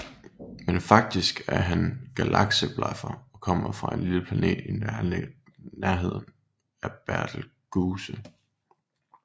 Men faktisk er han galakseblaffer og kommer fra en lille planet i nærheden af Betelgeuse